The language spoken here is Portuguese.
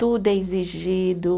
Tudo é exigido.